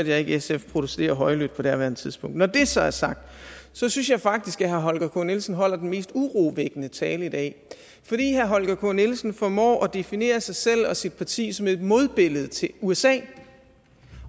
jeg ikke sf protestere højlydt på daværende tidspunkt når det så er sagt synes jeg faktisk at herre holger k nielsen holder den mest urovækkende tale i dag fordi herre holger k nielsen formår at definere sig selv og sit parti som et modbillede til usa